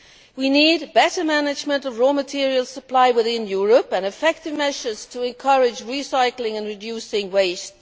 We need better management of raw materials supply within Europe and effective measures to encourage recycling and reducing waste.